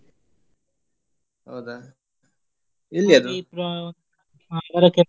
ಹೌದಾ ಎಲ್ಲಿ ?